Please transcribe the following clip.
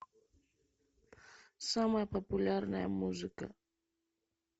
самая популярная музыка